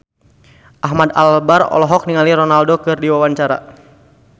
Ahmad Albar olohok ningali Ronaldo keur diwawancara